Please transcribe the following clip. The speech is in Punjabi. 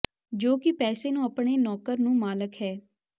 ਜੋ ਕਿ ਪੈਸੇ ਨੂੰ ਆਪਣੇ ਨੌਕਰ ਨੂੰ ਮਾਲਕ ਹੈ